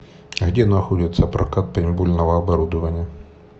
а где находится прокат пейнтбольного оборудования